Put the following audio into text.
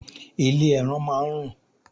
Ilé ẹran máá ń rùn